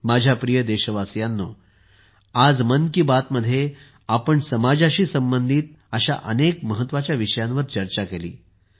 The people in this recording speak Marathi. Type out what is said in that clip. माझ्या प्रिय देशवासियांनो आज मन की बात मध्ये आपण समाजाशी संबंधित अनेक महत्त्वाच्या विषयांवर चर्चा केली